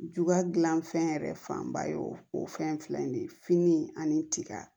Juga gilan fɛn yɛrɛ fanba ye o fɛn in filɛ nin ye fini ani tiga